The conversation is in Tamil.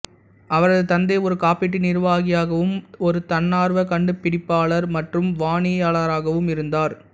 அவரது தந்தை ஒரு காப்பீட்டு நிர்வாகியாகவும் ஒரு தன்னார்வ கண்டுபிடிப்பாளர் மற்றும் வானியலாளராகவும் இருந்தார்